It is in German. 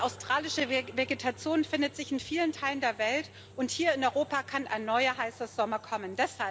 Die australische Vegetation findet sich in vielen Teilen der Welt, und hier in Europa kann ein neuer heißer Sommer kommen.